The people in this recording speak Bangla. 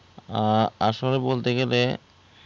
আহ আসলে বলতে গেলে